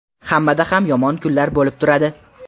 Hammada ham yomon kunlar bo‘lib turadi.